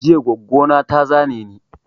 Jiya goggo na ta zane ni